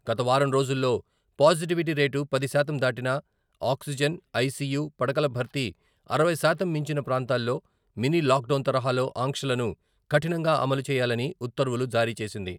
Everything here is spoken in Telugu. గత వారం రోజుల్లో పాజిటివిటీ రేటు పది శాతం దాటిన, ఆక్సిజన్, ఐసీయూ పడకల భర్తీ అరవై శాతం మించిన ప్రాంతాల్లో మినీ లాక్ డౌన్ తరహాలో ఆంక్షలను కఠినంగా అమలు చేయాలని ఉత్తర్వులు జారీ చేసింది.